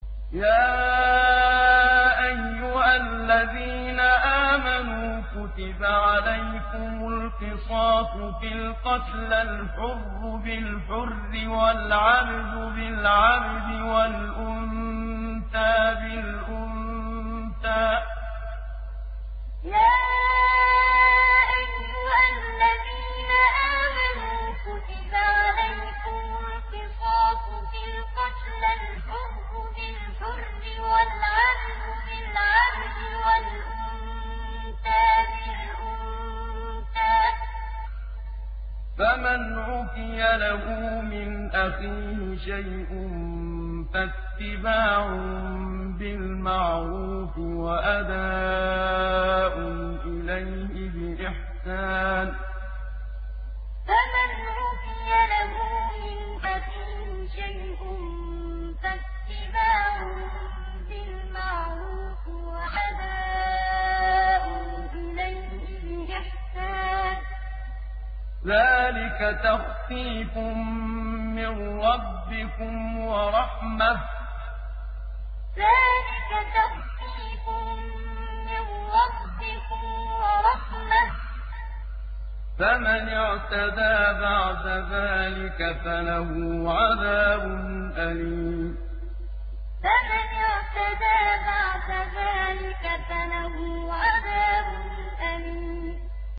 يَا أَيُّهَا الَّذِينَ آمَنُوا كُتِبَ عَلَيْكُمُ الْقِصَاصُ فِي الْقَتْلَى ۖ الْحُرُّ بِالْحُرِّ وَالْعَبْدُ بِالْعَبْدِ وَالْأُنثَىٰ بِالْأُنثَىٰ ۚ فَمَنْ عُفِيَ لَهُ مِنْ أَخِيهِ شَيْءٌ فَاتِّبَاعٌ بِالْمَعْرُوفِ وَأَدَاءٌ إِلَيْهِ بِإِحْسَانٍ ۗ ذَٰلِكَ تَخْفِيفٌ مِّن رَّبِّكُمْ وَرَحْمَةٌ ۗ فَمَنِ اعْتَدَىٰ بَعْدَ ذَٰلِكَ فَلَهُ عَذَابٌ أَلِيمٌ يَا أَيُّهَا الَّذِينَ آمَنُوا كُتِبَ عَلَيْكُمُ الْقِصَاصُ فِي الْقَتْلَى ۖ الْحُرُّ بِالْحُرِّ وَالْعَبْدُ بِالْعَبْدِ وَالْأُنثَىٰ بِالْأُنثَىٰ ۚ فَمَنْ عُفِيَ لَهُ مِنْ أَخِيهِ شَيْءٌ فَاتِّبَاعٌ بِالْمَعْرُوفِ وَأَدَاءٌ إِلَيْهِ بِإِحْسَانٍ ۗ ذَٰلِكَ تَخْفِيفٌ مِّن رَّبِّكُمْ وَرَحْمَةٌ ۗ فَمَنِ اعْتَدَىٰ بَعْدَ ذَٰلِكَ فَلَهُ عَذَابٌ أَلِيمٌ